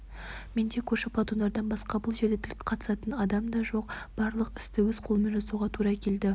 менде көрші плантатордан басқа бұл жерде тіл қатысатын да адам жоқ барлық істі өз қолыммен жасауға тура келді